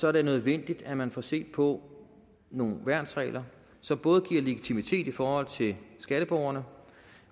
er det nødvendigt at man får set på nogle værnsregler som både giver legitimitet i forhold til skatteborgerne